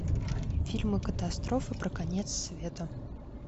фильмы катастрофы про конец света